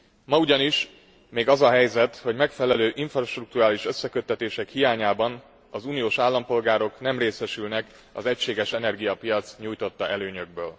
Ma ugyanis még az a helyzet, hogy megfelelő infrastrukturális összeköttetések hiányában az uniós állampolgárok nem részesülnek az egységes energiapiac nyújtotta előnyökből.